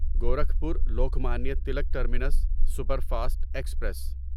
Gorakhpur Lokmanya Tilak terminus superfast express